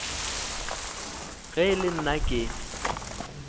ge e le nna ke